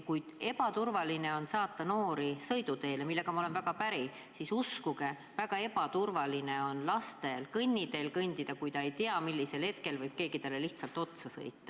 Kui on ebaturvaline saata noori sõiduteele, millega ma olen väga päri, siis uskuge, väga ebaturvaline on lastel kõnniteel kõndida, kui nad ei tea, millisel hetkel võib keegi neile lihtsalt otsa sõita.